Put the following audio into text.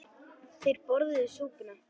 Þeir borðuðu súpuna.